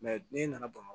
ne nana bamakɔ